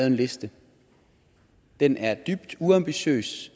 en liste den er dybt uambitiøs